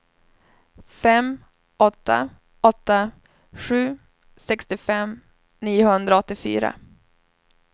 fem åtta åtta sju sextiofem niohundraåttiofyra